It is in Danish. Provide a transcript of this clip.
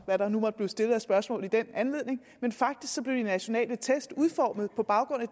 hvad der nu måtte blive stillet af spørgsmål i den anledning men faktisk blev de nationale test udformet på baggrund af